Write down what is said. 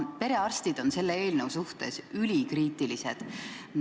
Perearstid on selle eelnõu suhtes ülikriitilised.